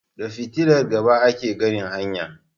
Da Fitilar gaba ake ganin hanya